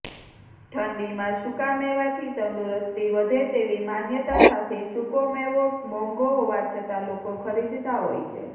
ઠંડીમાં સુકામેવાથી તંદુરસ્તી વધે તેવી માન્યતા સાથે સુકોમેવો મોઘો હોવા છતાં લોકો ખરીદતાં હોય છે